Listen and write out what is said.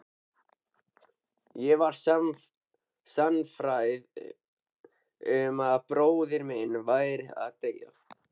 Ég var sannfærð um að bróðir minn væri að deyja